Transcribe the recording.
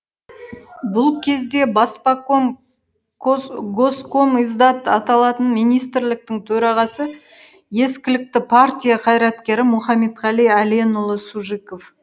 бұл кезде баспаком госкомиздат аталатын министрліктің төрағасы ескілікті партия қайраткері мұхаметқали әленұлы сужиков